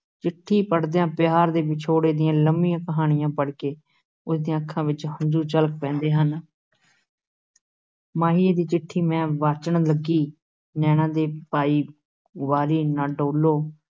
ਚਿੱਠੀ ਪੜ੍ਹਦਿਆਂ ਪਿਆਰ ਤੇ ਵਿਛੋੜੇ ਦੀਆਂ ਲੰਮੀਆਂ ਕਹਾਣੀਆਂ ਪੜ੍ਹ ਕੇ ਉਸ ਦੀਆਂ ਅੱਖਾਂ ਵਿੱਚੋਂ ਹੰਝੂ ਛਲਕ ਪੈਂਦੇ ਹਨ ਮਾਹੀਏ ਦੀ ਚਿੱਠੀ ਮੈਂ ਵਾਚਣ ਲੱਗੀ, ਨੈਨਾਂ ਦੇ ਪਾਈ ਗੁਬਾਰੀ, ਨਾ ਡੋਲ੍ਹੋ